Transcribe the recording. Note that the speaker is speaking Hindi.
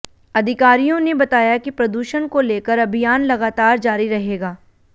अधिकारियों ने बताया कि प्रदूषण को लेकर अभियान लगातार जारी रहेगा